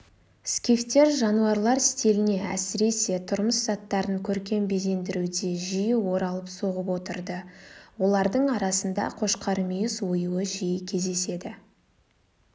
скифтер жануарлар стиліне әсіресе тұрмыс заттарын көркем безендіруде жиі оралып соғып отырды олардың арасында қошқармүйіз оюы жиі кездеседі